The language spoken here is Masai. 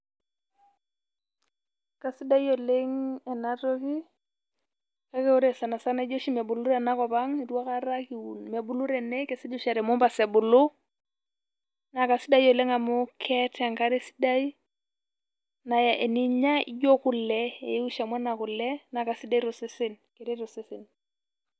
Keiisidai oleng enatoki ore sanasana jio mebulu oshi tenakop ang jio mebulu tene kesej aa temombasa ebulu naa kasidai oleng amu keeta enkare sidai naa eninyia jio kule naa kasidai tosesen .